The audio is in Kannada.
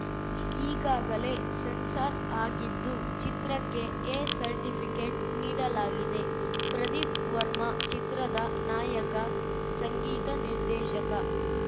ಈಗಾಗಲೇ ಸೆನ್ಸಾರ್‌ ಆಗಿದ್ದು ಚಿತ್ರಕ್ಕೆ ಎ ಸರ್ಟಿಫಿಕೇಟ್‌ ನೀಡಲಾಗಿದೆ ಪ್ರದೀಪ್‌ ವರ್ಮ ಚಿತ್ರದ ನಾಯಕ ಸಂಗೀತ ನಿರ್ದೇಶಕ